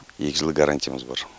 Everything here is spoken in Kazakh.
екі жыл гарантиямыз бар